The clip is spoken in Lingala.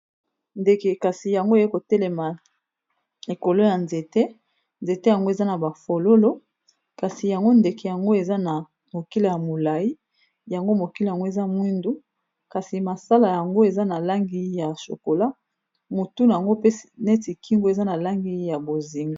ndeke kasi yango eye kotelema ekolo ya nzete nzete yango eza na bafololo kasi yango ndeke yango eza na mokila ya molai yango mokila yango eza mwindu kasi masala yango eza na langi ya shokola motuna yango pe neti kingo eza na langi ya bozingo